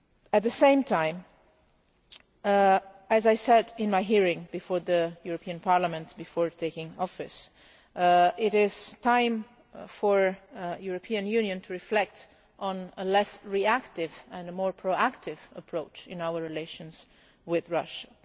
weeks. At the same time, as I said in my hearing before the European Parliament before taking office, it is time for the Union to reflect on a less reactive, and a more proactive, approach in our relations with